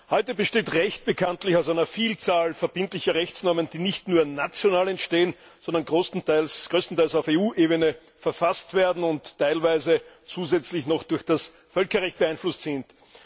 Heute besteht Recht bekanntlich aus einer Vielzahl verbindlicher Rechtsnormen, die nicht nur national entstehen, sondern größtenteils auf EU Ebene verfasst werden und teilweise zusätzlich noch durch das Völkerrecht beeinflusst sind.